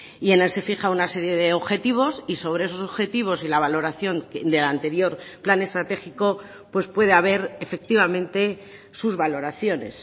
y en él se fija una serie de objetivos y sobre esos objetivos y la valoración del anterior plan estratégico pues puede haber efectivamente sus valoraciones